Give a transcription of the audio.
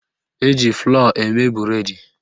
Eji flọ́ọ̀ eme bụredi